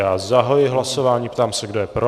Já zahajuji hlasování, ptám se, kdo je pro.